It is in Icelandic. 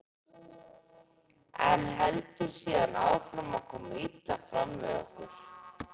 en heldur síðan áfram að koma illa fram við okkur.